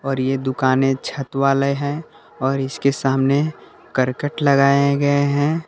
और ये दुकानें छत वाले हैं और इसके सामने करकट लगाए गए हैं।